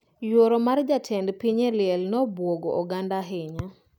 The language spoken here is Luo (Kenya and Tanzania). Yuoro mar jatend piny e liel no obuogo oganda ahinya